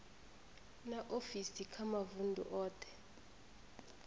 na ofisi kha mavundu othe